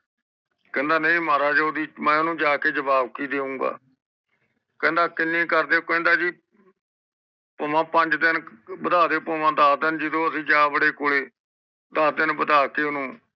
ਕਹਿੰਦਾ ਨੀ ਮਹਾਰਾਜ ਮੈਂ ਆਦਿ ਮੈਂ ਓਹਨੂੰ ਜਾਕੇ ਜਵਾਬ ਕਿ ਦੇਉਗਾ ਕਹਿੰਦਾ ਕੀਨੇ ਕਰਦੇ ਓ ਕਹਿੰਦਾ ਜੀ ਪਾਵਾ ਪੰਜ ਦੇਣ ਵਡਾ ਦਿਓ ਪਾਵਾ ਦਾਸ ਦੇਣ ਵਦਾ ਦਿਓ ਜਿਦੋ ਅਸੀਂ ਜਾ ਵੜੇ ਕੋਲੇ ਦਾਸ ਦੇਣ ਵਦਾ ਤੇ ਓਹਨੂੰ